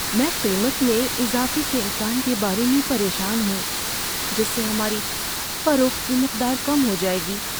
میں قیمت میں اضافے کے امکان کے بارے میں پریشان ہوں جس سے ہماری فروخت کی مقدار کم ہو جائے گی۔